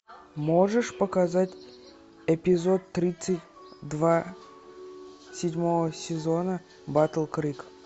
можешь показать эпизод тридцать два седьмого сезона батл крик